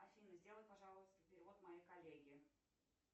афина сделай пожалуйста перевод моей коллеге